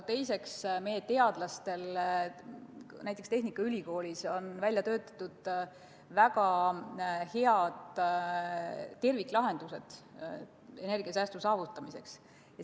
Teiseks on meie teadlastel näiteks tehnikaülikoolis välja töötatud väga head terviklahendused energiasäästu saavutamiseks.